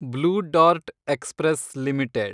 blue Dart Express limited